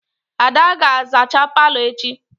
Ada ga-azacha palo echi.